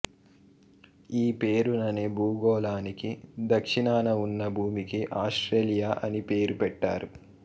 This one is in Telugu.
ఈ పేరుననే భూగోళానికి దక్షిణాన ఉన్న భూమికి ఆస్ట్రేలియా అని పేరుపెట్టారు